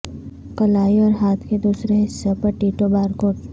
کلائی اور ہاتھ کے دوسرے حصے پر ٹیٹو بارکوڈ